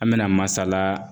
An bɛna masala